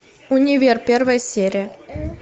универ первая серия